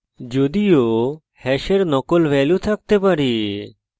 যদিও hash নকল value থাকতে পারে